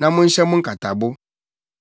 na monhyɛ mo nkatabo.